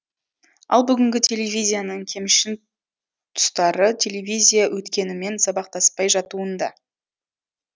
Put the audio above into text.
ал бүгінгі телевизияның кемшін тұстары телевизия өткенімен сабақтаспай жатуында